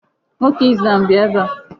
Nwoke Islam bịa ebe a.